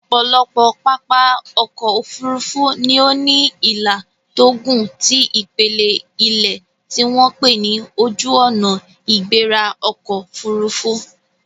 Ọ̀pọ̀lọpọ̀ pápá ọkọ̀ Òfurufú ni ó ní ìlà tó gùn ti ipele ilẹ̀ tí wọ́n pè ní Ojuona-igbera-okoofurufu